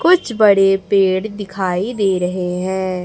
कुछ बड़े पेड़ दिखाई दे रहे हैं।